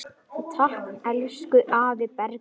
Takk, elsku afi Bergur.